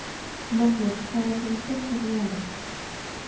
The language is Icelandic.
Magnús: Hvað er svona sérstakt við hann?